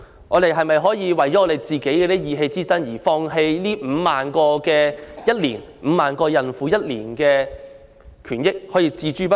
我們是否要為了意氣之爭而放棄每年5萬名產婦的權益，將她們置之不理？